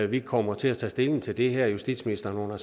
vi kommer til at tage stilling til det her og justitsministeren har under